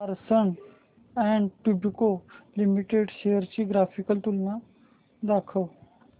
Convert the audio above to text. Larsen and टुर्बो limited shares ची graphical तुलना दाखव